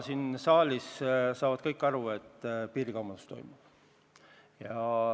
Siin saalis saavad kõik aru, et piirikaubandus toimub.